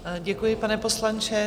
Děkuji, pane poslanče.